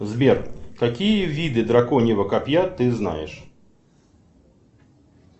сбер какие виды драконьего копья ты знаешь